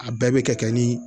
A bɛɛ bɛ kɛ ni